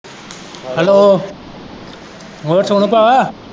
Hello, ਹੋਰ ਸੋਨੂੰ ਭਾਅ।